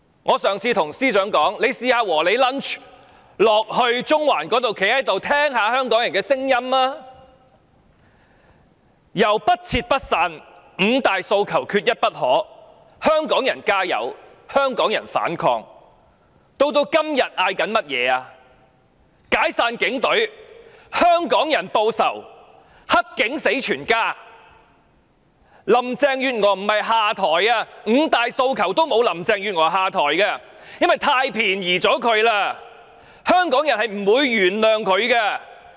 我上次建議司長在"和你 lunch" 時段去中環聽聽香港人的聲音，口號由"不撤不散"、"五大訴求，缺一不可"、"香港人加油"、"香港人反抗"，以至今天大家高呼"解散警隊"、"香港人報仇"及"黑警死全家"，不是高呼"林鄭月娥下台"，五大訴求中沒有"林鄭月娥下台"這個訴求，因為這樣太便宜她了，香港人是不會原諒她的。